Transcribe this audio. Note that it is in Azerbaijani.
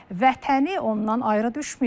Amma vətəni ondan ayrı düşməyib.